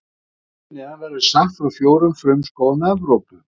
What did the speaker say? Hér fyrir neðan verður sagt frá fjórum frumskógum Evrópu.